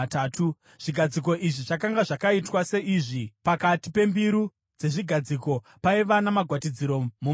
Zvigadziko izvi zvakanga zvakaitwa seizvi: pakati pembiru dzezvigadziko paiva namagwatidziro mumativi.